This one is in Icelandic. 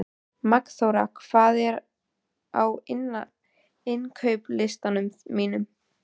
Magnþóra, hvað er á innkaupalistanum mínum?